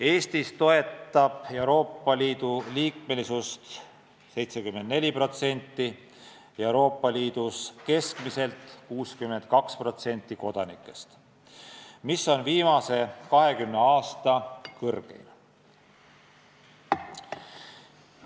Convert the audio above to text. Eestis toetab Euroopa Liidu liikmesust 74%, Euroopa Liidus keskmiselt 62% elanikest, mis on viimase 25 aasta kõrgeim näitaja.